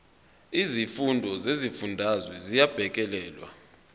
izimfuno zezifundazwe ziyabhekelelwa